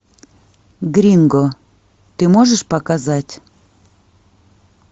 гринго ты можешь показать